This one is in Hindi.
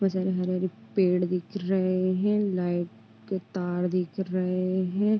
बहोत सारे हरे - हरे पेड़ दिख रहे है। लाईट के तार दिख रहे है।